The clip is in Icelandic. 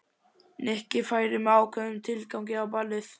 Nikki færi með ákveðnum tilgangi á ballið.